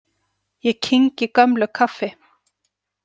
Ég kyngi gömlu kaffi.